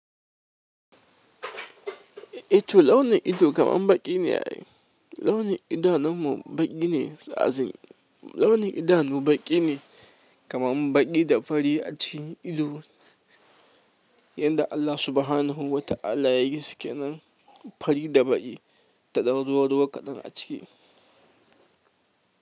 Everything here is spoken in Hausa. E, to launin ido kaman baƙi ne ai. Launin idanun mu baƙi ne, so as in launin idanu baƙi ne kaman baƙi da fari a cikin ido yanda Allah subhanahu wata'ala yayi su kenan fari da baƙi da ɗan ruwa ruwa kaɗan a ciki.